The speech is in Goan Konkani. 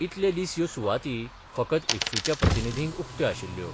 इतले दीस यो सुवाती फकत इफ्फीच्या प्रतिनिधींक उक्त्यो आशिल्ल्यो.